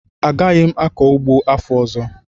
Agaghị m akọ ụgbọ afọ ọzọ